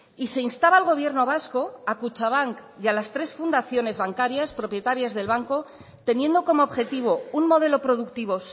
y se instaba al gobierno vasco a kutxabank y a las tres fundaciones bancarias propietarias del banco teniendo como objetivo un modelo productivo